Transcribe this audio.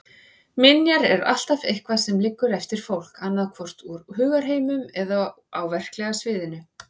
Minjar er alltaf eitthvað sem liggur eftir fólk, annaðhvort úr hugarheiminum eða á verklega sviðinu.